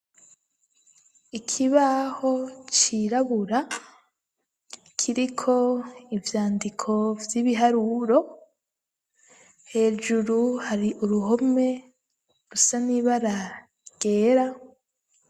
Ikibaho cirabura kiriko ivyandiko vy'ibiharuro hejuru hari uruhome rusa n'ibara ryera.